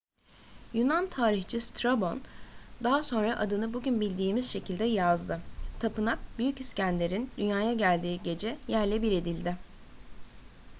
yunan tarihçi strabon daha sonra adını bugün bildiğimiz şekilde yazdı. tapınak büyük i̇skender'in dünyaya geldiği gece yerle bir edildi